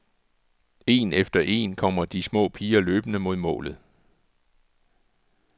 En efter en kommer de små piger løbende mod målet.